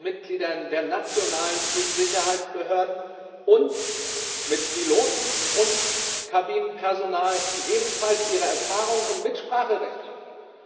Mitgliedern der nationalen Flugsicherheitsbehörden sowie Piloten und Kabinenpersonal, die ebenfalls ihre Erfahrungen und Mitspracherecht hatten.